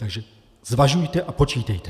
Takže zvažujte a počítejte.